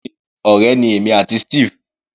Bẹ́ẹ̀ni, ọ̀rẹ́ ni èmi àti Steve.